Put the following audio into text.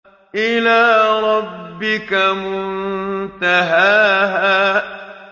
إِلَىٰ رَبِّكَ مُنتَهَاهَا